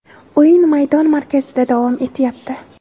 O‘yin maydon markazida davom etyapti.